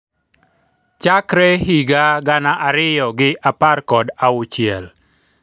chakre higa gana ariyo gi apar kod auchiel